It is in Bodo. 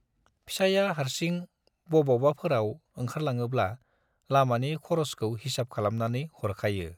फिसाइया हार्सिं बबावबाफोराव ओंखारलाङोब्ला लामानि खर'सखौ हिसाब खालामनानै हरखायो।